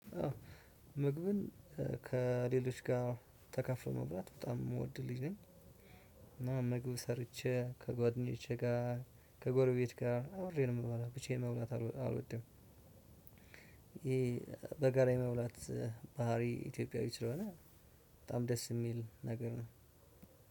ምግብን ከሌሎች ጋር ተከፍሎ መብራት በጣም የምወድልኝ ነኝ። እና ምግብ ሰርቼ ከጓደኞቼ ጋር ከጎረቤት ጋር አብሬ ነው የምባላው ብቻዬን መብላት አልወድም። ይሄ በጋራ የመብላት ባህሪ ኢትዮጵያዊ ስለሆነ። በጣም ደስ የሚል ነገር ነው።